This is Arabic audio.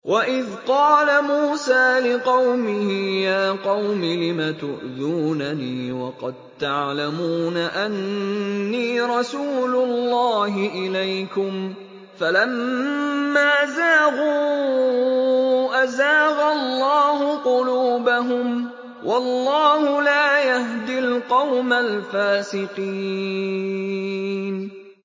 وَإِذْ قَالَ مُوسَىٰ لِقَوْمِهِ يَا قَوْمِ لِمَ تُؤْذُونَنِي وَقَد تَّعْلَمُونَ أَنِّي رَسُولُ اللَّهِ إِلَيْكُمْ ۖ فَلَمَّا زَاغُوا أَزَاغَ اللَّهُ قُلُوبَهُمْ ۚ وَاللَّهُ لَا يَهْدِي الْقَوْمَ الْفَاسِقِينَ